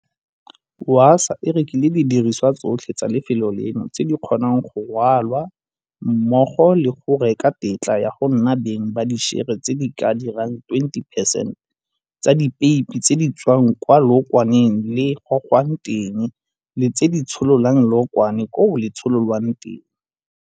Wasaa e rekile didirisiwa tsotlhe tsa lefelo leno tse di kgonang go rwalwa mmogo le go reka tetla ya go nna beng ba dišere tse di ka dirang 20 percent tsa dipeipi tse di tswang ko leokwane le gogwang teng le tse di tshololang leokwane koo le tshololwang teng.